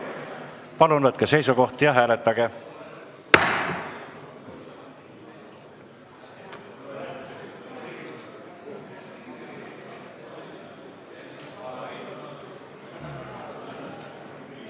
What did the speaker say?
Palun võtke seisukoht ja hääletage!